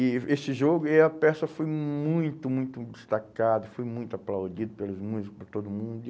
E esse jogo e a peça foi muito, muito destacada, foi muito aplaudida pelos músicos, por todo mundo.